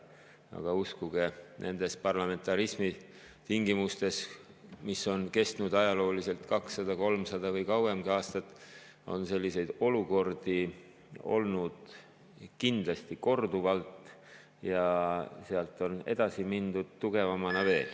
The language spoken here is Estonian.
Aga uskuge, nendes parlamentarismi tingimustes, mis on kestnud ajalooliselt 200, 300 aastat või kauemgi, on selliseid olukordi olnud kindlasti korduvalt ja sealt on edasi mindud veel tugevamana.